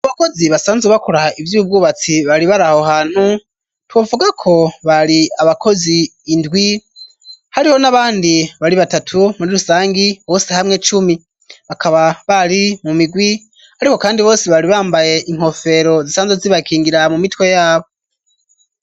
Bakozi basanzwe bakuraha ivyo ubwubatsi bari barahohantu tubavuga ko bari abakozi indwi hariho n'abandi bari batatu muri rusangi bose hamwe cumi bakaba bari mu migwi, ariko, kandi bose bari bambaye inkofero zisanzwe zibakingira mu mitwe yabo.